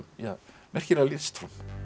merkilega listform